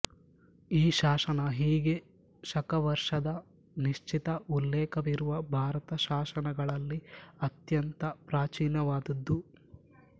ಈ ಶಾಸನ ಹೀಗೆ ಶಕವರ್ಷದ ನಿಶ್ಚಿತ ಉಲ್ಲೇಖವಿರುವ ಭಾರತ ಶಾಸನಗಳಲ್ಲಿ ಅತ್ಯಂತ ಪ್ರಾಚೀನವಾದದ್ದು